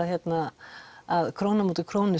að króna á móti krónu